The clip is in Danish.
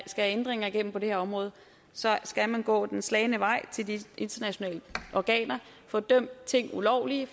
ændringer igennem på det her område skal man gå den slagne vej til de internationale organer og få dømt ting ulovlige